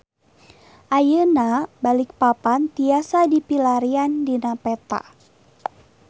Ayeuna Balikpapan tiasa dipilarian dina peta